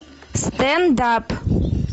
стендап